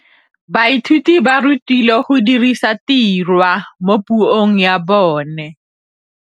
Baithuti ba rutilwe go dirisa tirwa mo puong ya bone.